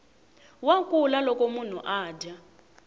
wa kula loko munhu adya